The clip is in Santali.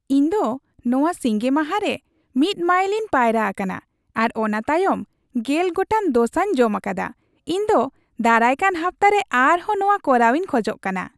ᱤᱧ ᱫᱚ ᱱᱚᱣᱟ ᱥᱤᱸᱜᱮ ᱢᱟᱦᱟ ᱨᱮ ᱑ ᱢᱟᱭᱤᱞᱤᱧ ᱯᱟᱭᱨᱟ ᱟᱠᱟᱱᱟ ᱟᱨ ᱚᱱᱟ ᱛᱟᱭᱚᱢ ᱑᱐ ᱜᱚᱴᱟᱝ ᱰᱳᱥᱟᱧ ᱡᱚᱢ ᱟᱠᱟᱫᱟ ᱾ ᱤᱧ ᱫᱚ ᱫᱟᱨᱟᱭᱠᱟᱱ ᱦᱟᱯᱛᱟᱨᱮ ᱟᱨᱦᱚᱸ ᱱᱚᱣᱟ ᱠᱚᱨᱟᱣᱤᱧ ᱠᱷᱚᱡ ᱠᱟᱱᱟ ᱾